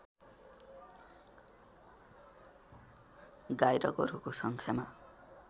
गाई र गोरुको सङ्ख्यामा